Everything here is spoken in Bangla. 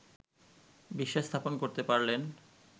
বিশ্বাস স্থাপন করতে পারলেন